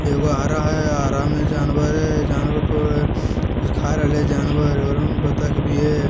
एगो हरा है हरा में जानवर है जानवर प कुछ खा रहल है जानवर आ बत्तक भी है।